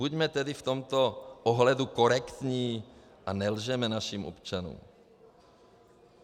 Buďme tedy v tomto ohledu korektní a nelžeme našim občanům.